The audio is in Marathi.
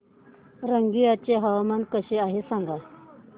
रंगिया चे हवामान कसे आहे सांगा